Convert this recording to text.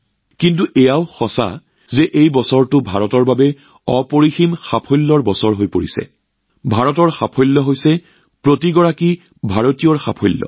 কিন্তু এইটোও সত্য যে এই বছৰটো ভাৰতৰ বাবে অপৰিসীম সাফল্যৰ বছৰ আৰু ভাৰতৰ কৃতিত্ব প্ৰতিজন ভাৰতীয়ৰ কৃতিত্ব